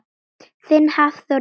Þinn Hafþór Ingi.